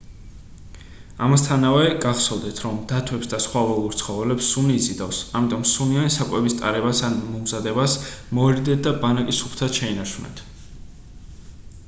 ამასთანავე გახსოვდეთ რომ დათვებს და სხვა ველურ ცხოველებს სუნი იზიდავს ამიტომ სუნიანი საკვების ტარებას ან მომზადებას მოერიდეთ და ბანაკი სუფთად შეინარჩუნეთ